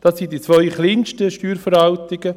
Das sind die zwei kleinsten Steuerverwaltungen.